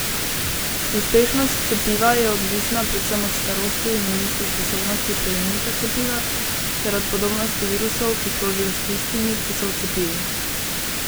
Uspešnost cepiva je odvisna predvsem od starosti in imunske sposobnosti prejemnika cepiva ter od podobnosti virusov, ki krožijo, s tistimi, ki so v cepivu.